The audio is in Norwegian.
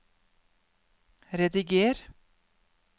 rediger